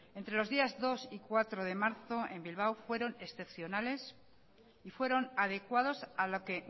entre los días dos y cuatro de marzo en bilbao fueron excepcionales y fueron adecuados a lo que